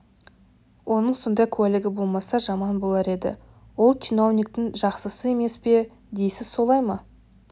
оның сондай куәлігі болмаса жаман болар еді ол чиновниктің жақсысы емес пе дейсіз солай ма